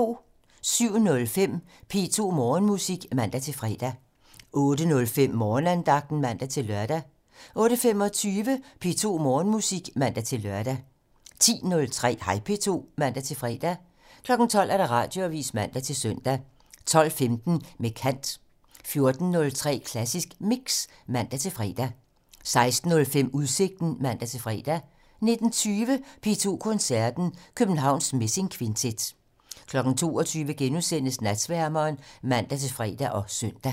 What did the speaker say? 07:05: P2 Morgenmusik (man-fre) 08:05: Morgenandagten (man-lør) 08:25: P2 Morgenmusik (man-lør) 10:03: Hej P2 (man-fre) 12:00: Radioavisen (man-søn) 12:15: Med kant 14:03: Klassisk Mix (man-fre) 16:05: Udsigten (man-fre) 19:20: P2 Koncerten - Københavns Messingkvintet 22:00: Natsværmeren *(man-fre og søn)